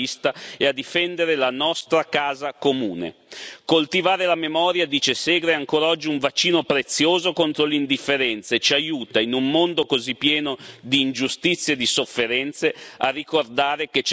Coltivare la memoria dice Segre ancora oggi è un vaccino prezioso contro l'indifferenza e ci aiuta, in un mondo così pieno di ingiustizie e di sofferenze, a ricordare che ciascuno di noi ha una coscienza e la può usare.